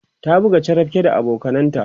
ta buga charapke da abokananta